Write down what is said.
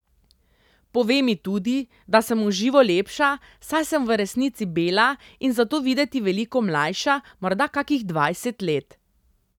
Pove mi tudi, da sem v živo lepša, saj sem v resnici bela in zato videti veliko mlajša, morda kakih dvajset let.